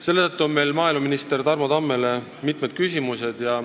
Seetõttu on meil maaeluminister Tarmo Tammele mitmed küsimused.